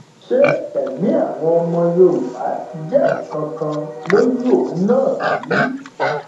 ṣé ẹmí àwọn ọmọ yorùbá jẹ nǹkan kan lójú òun náà bí